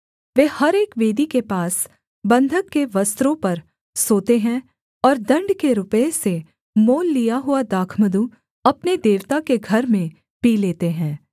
वे हर एक वेदी के पास बन्धक के वस्त्रों पर सोते हैं और दण्ड के रुपये से मोल लिया हुआ दाखमधु अपने देवता के घर में पी लेते हैं